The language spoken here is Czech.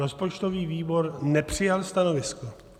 Rozpočtový výbor nepřijal stanovisko.